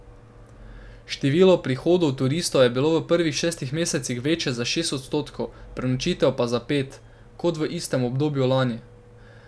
Število prihodov turistov je bilo v prvih šestih mesecih večje za šest odstotkov, prenočitev pa za pet, kot v istem obdobju lani.